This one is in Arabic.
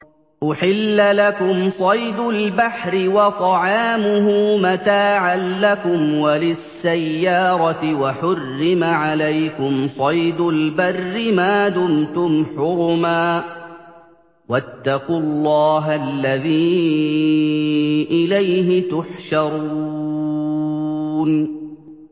أُحِلَّ لَكُمْ صَيْدُ الْبَحْرِ وَطَعَامُهُ مَتَاعًا لَّكُمْ وَلِلسَّيَّارَةِ ۖ وَحُرِّمَ عَلَيْكُمْ صَيْدُ الْبَرِّ مَا دُمْتُمْ حُرُمًا ۗ وَاتَّقُوا اللَّهَ الَّذِي إِلَيْهِ تُحْشَرُونَ